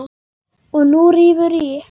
Og nú rífur hann í.